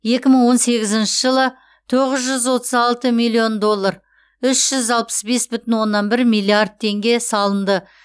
екі мың он сегізінші жылы тоғыз жүз отыз алты миллион доллар үш жүз алпыс бес бүтін оннан бір миллиард теңге салынды